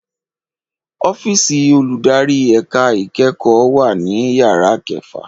ọ́fíìsì olùdarí ẹ̀ka ìkẹ́kọ̀ọ́ wà ní yàrá kẹfà